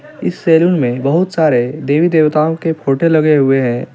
इस सेलून मे बोहोत सारे देवी देवताओं के फोटो लगे हुए है. इस --